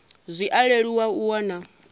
zwi a leluwa u wana